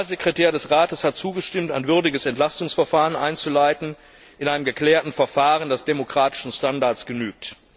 Der Generalsekretär des Rates hat zugestimmt, ein würdiges Entlastungsverfahren einzuleiten in einem geklärten Verfahren, das demokratischen Standards genügt.